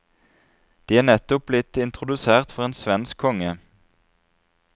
De er nettopp blitt introdusert for en svensk konge.